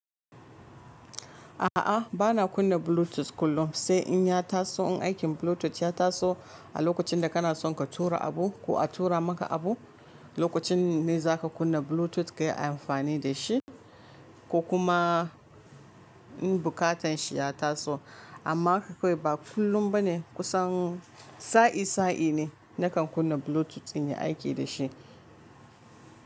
A'a, bana kunna Bluetooth kullum, sai in ya taso, in aikin Bluetooth ya taso, a lokacin da kana son ka tura abu ko a tura maka abu, lokacin ne za ka kunna Bluetooth ka yi amfani da shi ko kuma in bukatan shi ya taso. Amma haka kawai ba kullum ba ne, kusan sa'i-sa'i ne na kan kunna Bluetooth in yi aiki da shi.